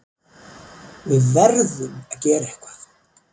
Við verðum að gera eitthvað!